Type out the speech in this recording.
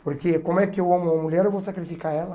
Porque como é que eu amo uma mulher, eu vou sacrificar ela?